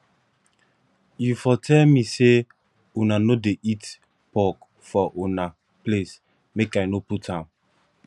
you for tell me say una no dey eat pork for una place make i no put am